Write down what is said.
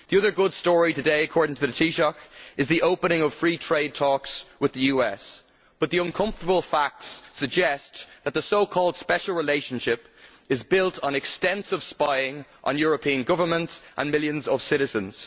The other good story today, according to the Taoiseach, is the opening of free trade talks with the US, but the uncomfortable facts suggest that the so called special relationship is built on extensive spying on European governments and millions of citizens.